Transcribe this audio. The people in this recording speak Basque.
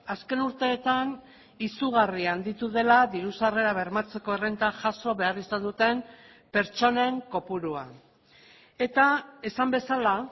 azken urteetan izugarri handitu dela diru sarrera bermatzeko errenta jaso behar izan duten pertsonen kopurua eta esan bezala